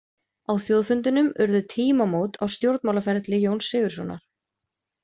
Á þjóðfundinum urðu tímamót á stjórnmálaferli Jóns Sigurðssonar.